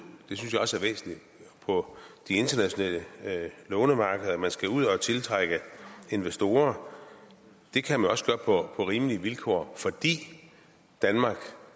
på de internationale lånemarkeder og at man skal ud og tiltrække investorer det kan man også gøre på rimelige vilkår fordi danmark